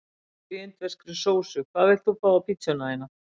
Kjúkling í indverskri sósu Hvað vilt þú fá á pizzuna þína?